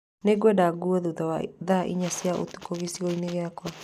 Nĩngwenda nguo thutha wa thaa inya cia ũtukũ gĩcigo-inĩ gĩakwa.